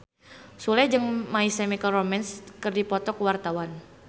Sule jeung My Chemical Romance keur dipoto ku wartawan